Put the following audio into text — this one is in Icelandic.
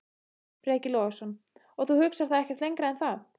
Breki Logason: Og þú hugsar það ekkert lengra en það?